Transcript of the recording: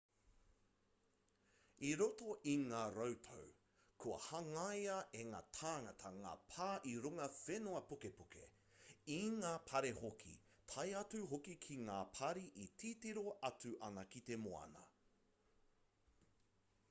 i roto i ngā rautau kua hangaia e ngā tāngata ngā pā i runga whenua pukepuke i ngā pari hoki tae atu hoki ki ngā pari e titiro atu ana ki te moana